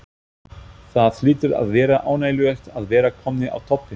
Það hlýtur að vera ánægjulegt að vera komnir á toppinn?